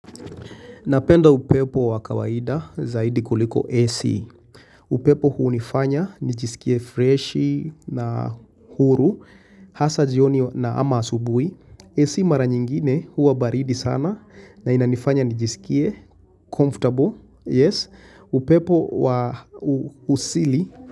Napenda upepo wa kawaida zaidi kuliko AC. Upepo huu hunifanya, nijisikie freshi na huru, hasa jioni na ama asubui. AC mara nyingine huwa baridi sana na inanifanya nijisikie, comfortable, yes, upepo wa usili.